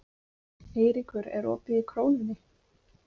Eyríkur, er opið í Krónunni?